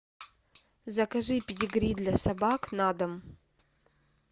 закажи педигри для собак на дом